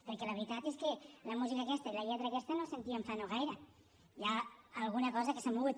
perquè la veritat és que la música aquesta i la lletra aquesta no la sentíem fa no gaire hi ha alguna cosa que s’ha mogut